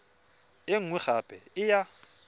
e nngwe gape e ya